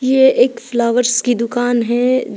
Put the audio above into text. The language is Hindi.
यह एक फ्लावर्स की दुकान है।